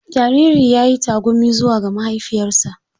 Jaririn ya yi tagumi zuwa ga mahaifiyarsa.